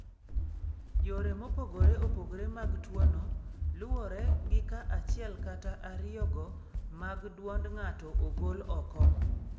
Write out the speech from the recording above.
Yore mopogore opogore mag tuono, luwore gi ka achiel kata ariyogo mag dwond ng'ato ogol oko.